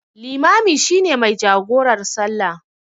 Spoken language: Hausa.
Limami shi ne mai jagorar salla.